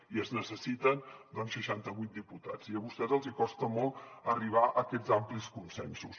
i es necessiten doncs seixanta vuit diputats i a vostès els hi costa molt arribar a aquests amplis consensos